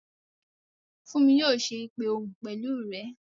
Fúnmi yóò ṣe ìpè òhun pẹ̀lú rẹ